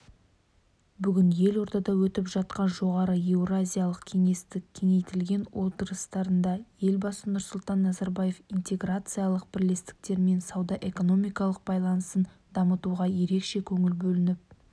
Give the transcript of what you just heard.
бүгін елордада өтіп жатқан жоғары еуразиялық кеңестің кеңейтілген отырысында елбасы нұрсұлтан назарбаев интеграциялық бірлестіктермен сауда-экономикалық байланысын дамытуға ерекше көңіл бөлініп